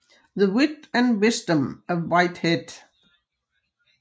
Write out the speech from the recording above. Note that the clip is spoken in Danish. The Wit and Wisdom of Whitehead